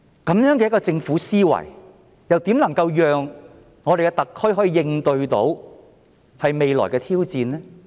以政府這樣的思維，如何能夠讓特區應對未來的挑戰呢？